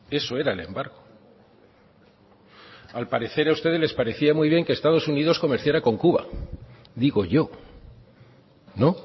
eso era el embargo al parecer a ustedes les parecía muy bien que estados unidos comerciara con cuba digo yo no